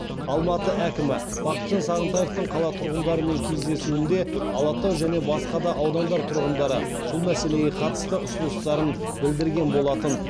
алматы әкімі бақытжан сағынтаевтың қала тұрғындарымен кездесуінде алатау және басқа да аудандар тұрғындары бұл мәселеге қатысты ұсыныстарын білдірген болатын